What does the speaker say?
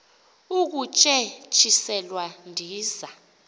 ukutye tyiselwa ndiza